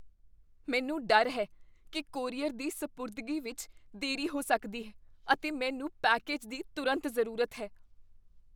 ਮੈਨੂੰ ਡਰ ਹੈ ਕੀ ਕੋਰੀਅਰ ਦੀ ਸਪੁਰਦਗੀ ਵਿੱਚ ਦੇਰੀ ਹੋ ਸਕਦੀ ਹੈ, ਅਤੇ ਮੈਨੂੰ ਪੈਕੇਜ ਦੀ ਤੁਰੰਤ ਜ਼ਰੂਰਤ ਹੈ।